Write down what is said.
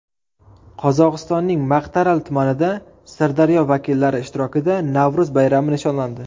Qozog‘istonning Maqtaaral tumanida Sirdaryo vakillari ishtirokida Navro‘z bayrami nishonlandi.